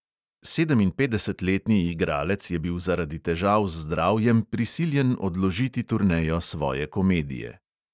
Sedeminpetdesetletni igralec je bil zaradi težav z zdravjem prisiljen odložiti turnejo svoje komedije.